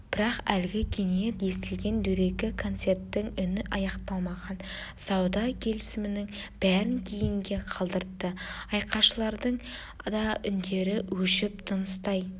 бірақ әлгі кенет естілген дөрекі концерттің үні аяқталмаған сауда келісімінің бәрін кейінге қалдыртты айқайшылардың да үндері өшіп тыныстай